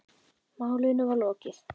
Málinu var lokið.